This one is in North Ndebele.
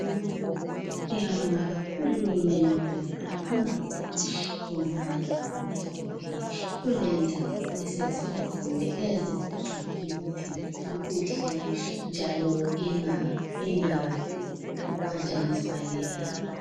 Siyabonga kakhulu ngegqubela phambili kumalebhorithori . Kulendawo esezifakiwe ezizangcina imithi yethu kuhle njalo ingaphanjaniswa lilanga